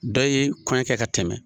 Dɔ ye kɔɲɔ kɛ ka tɛmɛ.